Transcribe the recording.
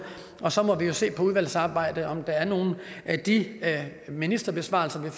og så må vi jo se i udvalgsarbejdet om der er nogle af de ministerbesvarelser vi